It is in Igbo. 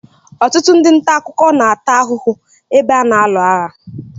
Ọtụtụ ndị ntà akụkọ na-ata ahụhụ ebe a na-alu agha.